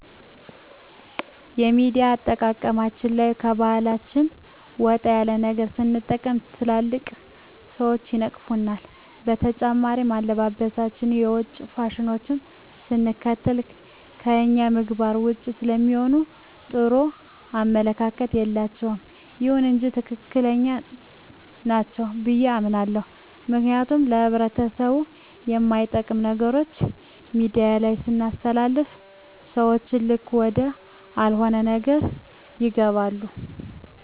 የሚዲያ አጠቃቀማችን ላይ ከባሕላችን ወጣ ያለ ነገር ስንጠቅም ትልልቅ ሰዎች ይነቅፉናል። በተጨማሪም አለባበሳችን የውጭ ፋሽኖችን ስንከተል ከእኛ ምግባር ዉጭ ስለሚሆን ጥሩ አመለካከት የላቸዉም። ይሁን እንጂ ትክክለኛ ናቸው ብዬ አምናለሁ ምክንያቱም ለህብረተሰቡ እማይጠቅሙ ነገሮችን ሚዲያ ላይ ስናስተላልፍ ሰዎችን ልክ ወደአልሆነ ነገር ይገባሉ።